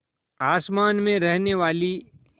आसमान में रहने वाली